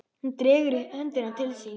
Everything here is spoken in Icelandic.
Hún dregur höndina til sín.